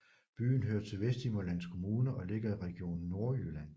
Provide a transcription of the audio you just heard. Byen hører til Vesthimmerlands Kommune og ligger i Region Nordjylland